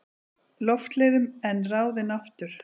Loftleiðum en ráðinn aftur.